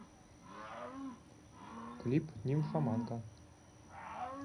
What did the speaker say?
клип нимфоманка